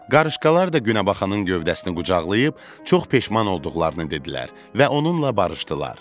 Qarışqalar da günəbaxanın gövdəsini qucaqlayıb çox peşman olduqlarını dedilər və onunla barışdılar.